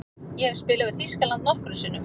Ég hef spilað við Þýskaland nokkrum sinnum.